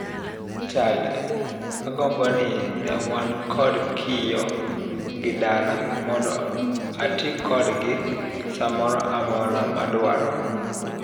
Child-''agombo ni newan kod kiyoo gi dala mondo ati kodgi samoro amora madwaro.''